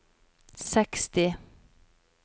seksti